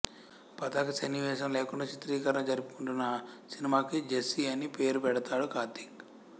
పతాక సన్నివేశం లేకుండా చిత్రీకరణ జరుపుకుంటున్న ఆ సినిమాకి జెస్సీ అని పేరు పెడతాడు కార్తీక్